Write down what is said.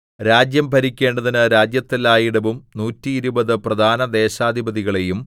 രാജ്യം ഭരിക്കേണ്ടതിന് രാജ്യത്തെല്ലായിടവും നൂറ്റിയിരുപത് പ്രധാന ദേശാധിപതികളെയും